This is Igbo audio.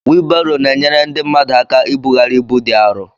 wịịlbarò na-enyere ndị mmadụ ákà íbughari ịbú dị árọ